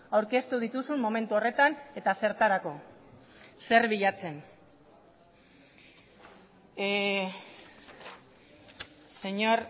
aurkeztu dituzun momentu horretan eta zertarako zer bilatzen señor